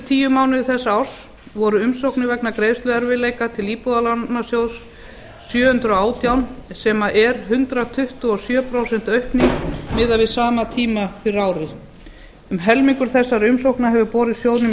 tíu mánuði þessa árs voru umsóknir vegna greiðsluerfiðleika til íbúðalánasjóðs sjö hundruð og átján sem er hundrað tuttugu og sjö prósent aukning miðað við sama tíma fyrir ári um helmingur þessara umsókna hefur borist sjóðnum í